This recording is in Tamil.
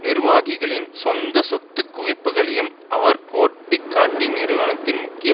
நிர்வாகிகளின் சொந்தச் சொத்து குவிப்புகளையும் அவர் கோடிட்டு காட்டி நிறுவனத்தின் முக்கிய